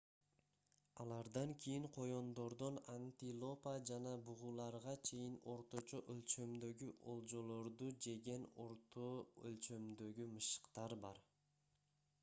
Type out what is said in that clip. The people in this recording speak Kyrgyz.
алардан кийин коёндордон антилопа жана бугуларга чейин орточо өлчөмдөгү олжолорду жеген орто өлчөмдөгү мышыктар бар